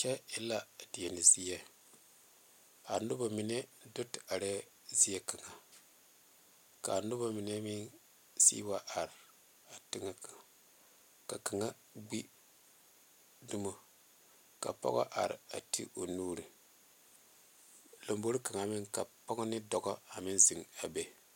Kyɛ e la deɛne zieŋ a noba mine do te are zieŋ kaŋe kaa noba mine meŋ seŋwa are zieŋ kaŋe ka kaŋ meŋ gbe domɔ a are te o nuuri laŋe bore kaŋ ka dɔɔbo ane pɔgeba meŋ zeŋe a be.